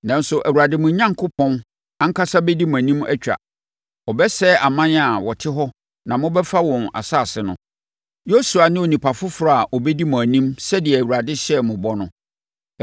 Nanso Awurade, mo Onyankopɔn, ankasa bɛdi mo anim atwa. Ɔbɛsɛe aman a wɔte hɔ na mobɛfa wɔn asase no. Yosua ne onipa foforɔ a ɔbɛdi mo anim sɛdeɛ Awurade hyɛɛ mo bɔ no.